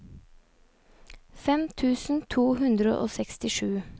fem tusen to hundre og sekstisju